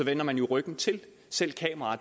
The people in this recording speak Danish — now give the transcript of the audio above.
vender man jo ryggen til selv